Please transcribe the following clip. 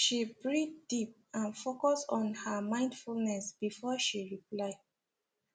she breathe deep and focus on her mindfulness before she reply